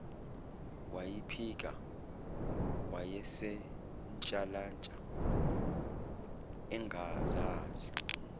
wayiphika wayesentshalantsha engazazi